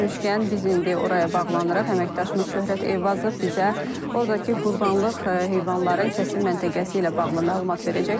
biz indi oraya bağlanırıq, əməkdaşımız Şöhrət Eyvazov bizə ordakı qurbanlıq heyvanların kəsim məntəqəsi ilə bağlı məlumat verəcək.